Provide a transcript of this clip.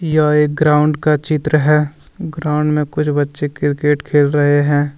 यह एक ग्राउंड का चित्र है ग्राउंड में कुछ बच्चे क्रिकेट खेल रहे हैं।